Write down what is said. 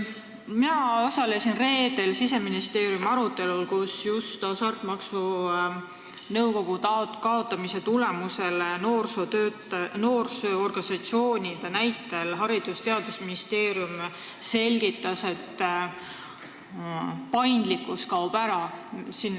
Mina osalesin reedel Siseministeeriumi arutelul, kus Haridus- ja Teadusministeerium selgitas Hasartmängumaksu Nõukogu kaotamise taustal ja noorsootöötajate organisatsioonide näitel, et paindlikkus kaob ära.